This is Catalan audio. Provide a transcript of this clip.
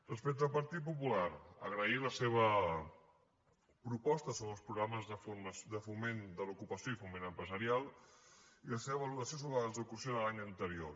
respecte al partit popular agrair la seva proposta sobre els programes de foment de l’ocupació i foment empresarial i la seva valoració sobre l’execució de l’any anterior